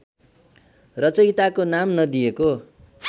रचयिताको नाम नदिएको